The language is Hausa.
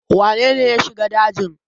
wanene ya a shiga dajin?